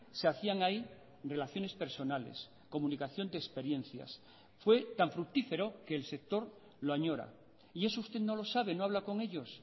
se hacían ahí relaciones personales comunicación de experiencias fue tan fructífero que el sector lo añora y eso usted no lo sabe no habla con ellos